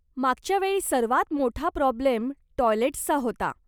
मागच्या वेळी सर्वात मोठा प्रॉब्लेम टॉयलेट्सचा होता.